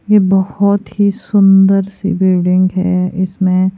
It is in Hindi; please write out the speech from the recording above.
यह बहुत ही सुंदर सी बिल्डिंग हैइसमें--